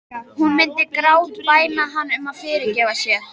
Hún myndi grátbæna hann um að fyrirgefa sér.